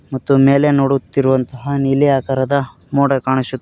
ಮತ್ತು ಮೇಲೆ ನೋಡುತ್ತಿರುವಂತಹ ನೀಲಿ ಆಕಾರದ ಮೊಡ ಕಾಣಿಸು--